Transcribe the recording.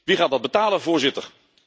Wie gaat dat betalen, voorzitter?